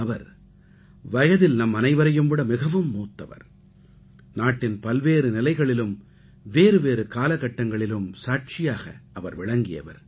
அவர் வயதில் நம்மனைவரையும் விட மிகவும் மூத்தவர் நாட்டின் பல்வேறு நிலைகளிலும் வேறுவேறு காலகட்டங்களிலும் சாட்சியாக அவர் விளங்கியவர்